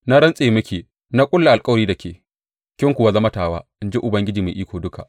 Na rantse miki, na ƙulla alkawari da ke, kin kuwa zama tawa, in ji Ubangiji Mai Iko Duka.